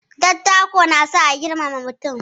Dattako na sa a girmama mutum.